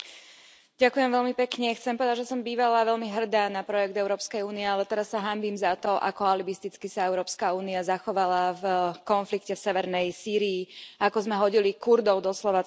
Pani predsedajúca, chcem povedať, že som bývala veľmi hrdá na projekt Európskej únie, ale teraz sa hanbím za to, ako alibisticky sa Európska únia zachovala v konflikte v severnej Sýrii a ako sme hodili Kurdov doslova cez palubu.